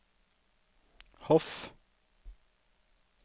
Hof